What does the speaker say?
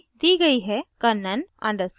यहाँ मेरी user id my गयी है